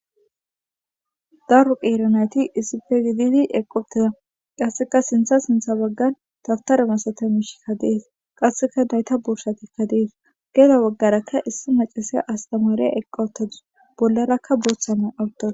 Daru qeero nayti issife gididi eqopteda qasseka sintha sintha baggan tabtare masata mishikka dees qasseka nayta bursatikka dees geela baggarakka issi macasay astamareya eqqowtadu bollarakka booththaman awuttoda.